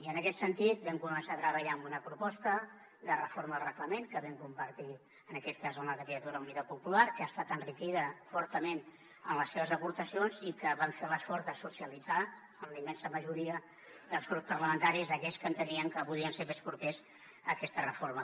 i en aquest sentit vam començar a treballar amb una proposta de reforma del reglament que vam compartir en aquest cas amb la candidatura d’unitat popular que ha estat enriquida fortament amb les seves aportacions i que van fer l’esforç de socialitzar amb la immensa majoria dels grups parlamentaris aquells que entenien que podien ser més propers a aquesta reforma